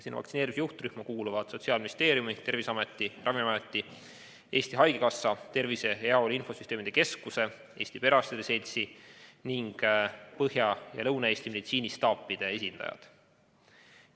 Vaktsineerimise juhtrühma kuuluvad Sotsiaalministeeriumi, Terviseameti, Ravimiameti, Eesti Haigekassa, Tervise ja Heaolu Infosüsteemide Keskuse, Eesti Perearstide Seltsi ning Põhja- ja Lõuna-Eesti meditsiinistaapide esindajad.